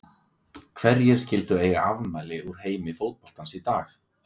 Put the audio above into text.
Hverjir skyldu eiga afmæli úr heimi fótboltans í dag?